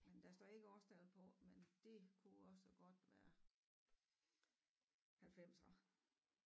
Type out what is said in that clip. Men der står ikke årstal på men det kunne også godt være halvfemser